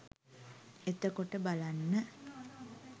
එතකොට බලන්න